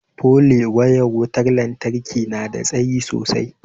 pole wayar wutar lantarki nada tsayi sosai